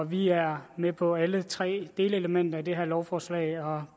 vi er med på alle tre delelementer i det her lovforslag og